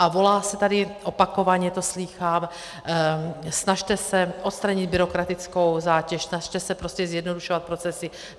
A volá se tady, opakovaně to slýchám: snažte se odstranit byrokratickou zátěž, snažte se prostě zjednodušovat procesy.